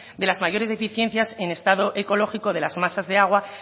de las mayores deficiencias en estado ecológico de las masas de agua